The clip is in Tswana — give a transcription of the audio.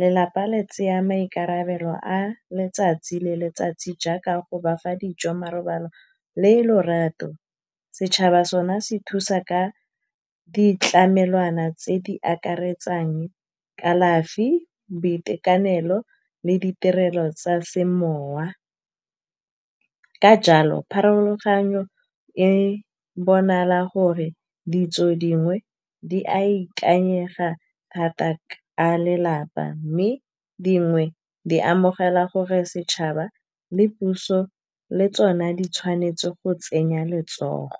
Lelapa le tseya maikarabelo a letsatsi le letsatsi jaaka go bafa dijo, marobalo le lorato. Setšhaba sona se thusa ka ditlamelwana tse di akaretsang kalafi, boitekanelo le ditirelo tsa semowa. Ka jalo pharologanyo e bonala gore ditso dingwe, di a ikanyega thata ka lelapa, mme dingwe di amogela gore setšhaba le puso le tsona di tshwanetse go tsenya letsogo.